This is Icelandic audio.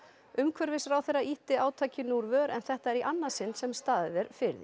umhverfisráðherra ýtti átakinu úr vör en þetta er í annað sinn sem staðið er fyrir því